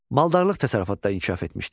Maldarlıq təsərrüfatda inkişaf etmişdi.